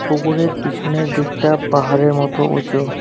পুকুরের পিছনের দিকটা পাহাড়ের মত উঁচু।